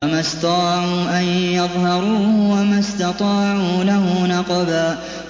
فَمَا اسْطَاعُوا أَن يَظْهَرُوهُ وَمَا اسْتَطَاعُوا لَهُ نَقْبًا